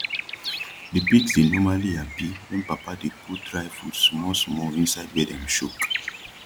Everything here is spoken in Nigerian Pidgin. de pigs dey normali hapi wen papa dey put dry food smalsmal inside wia dem choke